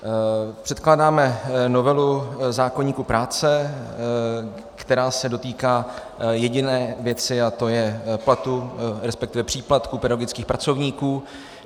Předkládáme novelu zákoníku práce, která se dotýká jediné věci, a to je platu, respektive příplatku pedagogických pracovníků.